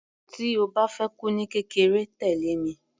Tí o bá fẹ́ kú ní kékeré, tẹ̀lẹ́ mi.